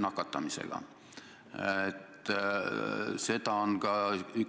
See on nii, seda ei